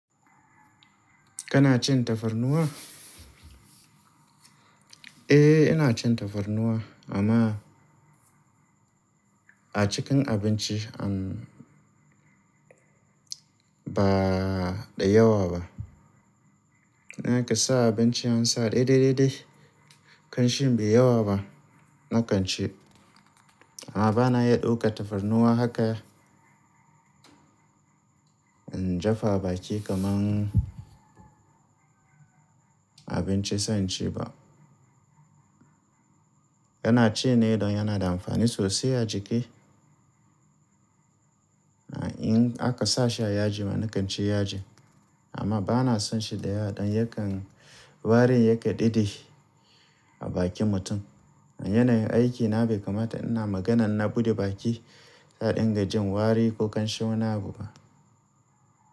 Kana cin tafarnuwa? Eh, ina cin tafarnuwa amma a cikin abinci an ba dayawa ba. In aka sa abinci an sa dai dai dai dai, kanshin bayi yawa ba, nakan ci. Amma bana iya ɗauka tafarnuwa haka, in jefa a baki kamar abinci zan ci ba. Yana ci ne don yana da amfani sosai a jiki. In aka sa shi a yaji ma nakan ci yaji, amma bana son shi da yawa don yakan warin yake dede a bakin mutum. A yanayin aikina bai kamata ina maganan na buɗe baki da ɗin gajin wari ko kanshi wani abu ba.